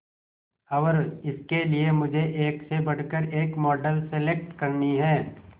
और इसके लिए मुझे एक से बढ़कर एक मॉडल सेलेक्ट करनी है